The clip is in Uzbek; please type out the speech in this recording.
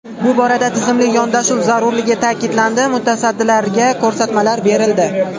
Bu borada tizimli yondashuv zarurligi ta’kidlandi, mutasaddilarga ko‘rsatmalar berildi.